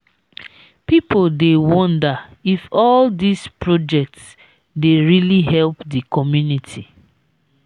pipo dey wonder if all dise projects dey really help di community.